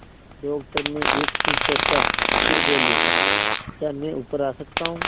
doctor ने एक क्षण सोचा फिर बोले क्या मैं ऊपर आ सकता हूँ